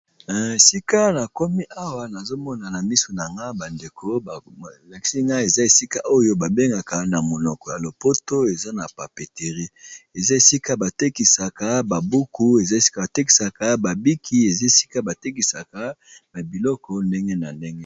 Esika nakomi awa nazomona na miso na ngai ba ndeko eza esika ba bengaka na monoko ya lopoto papeterie batekisa ba buku, bics na biloko ya ndenge na ndenge